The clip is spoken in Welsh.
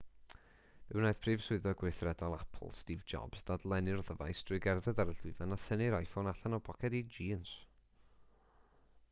fe wnaeth prif swyddog gweithredol apple steve jobs ddadlennu'r ddyfais drwy gerdded ar y llwyfan a thynnu'r iphone allan o boced ei jîns